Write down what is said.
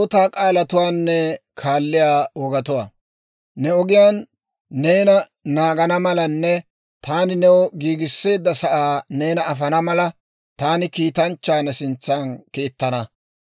«Ne ogiyaan neena naagana malanne taani new giigisseedda sa'aa neena afana mala, taani kiitanchchaa ne sintsan kiittana.